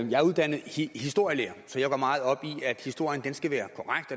jeg er uddannet historielærer så jeg går meget op i at historien skal være korrekt